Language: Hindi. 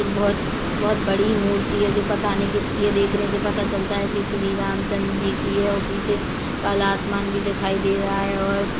बोहोत - बोहोत बड़ी मूर्ति है जो पता नहीं किसकी है देखने से पता चलता है की श्री राम चं जी की है और पीछे काला आसमान भी दिखाई दे रहा है और--